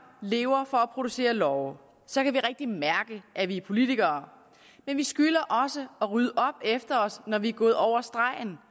lever for at producere love så kan vi rigtig mærke at vi er politikere men vi skylder også at rydde op efter os når vi er gået over stregen